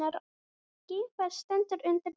Geimfar stendur undir nafni